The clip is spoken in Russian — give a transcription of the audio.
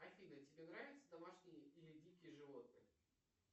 афина тебе нравятся домашние или дикие животные